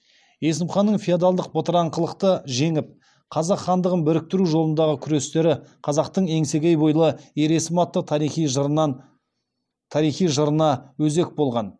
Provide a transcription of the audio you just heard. есім ханның феодалдық бытыраңқылықты жеңіп қазақ хандығын біріктіру жолындағы күрестері қазақтың еңсегей бойлы ер есім атты тарихи жырына өзек болған